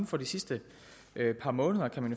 for de sidste par måneder